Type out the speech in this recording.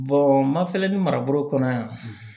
ma fɛnɛ ni marabolo kɔnɔ yan